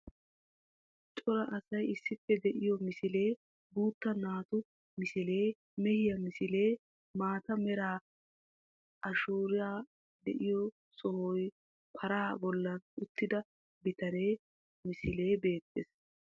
Cora asay issippe de'iyo misilee, guutta naatu misilee, mehiya misilee, maata mera ashuuray de'iyo sohoy paraa bollan uttida bitaniya misilee beettees.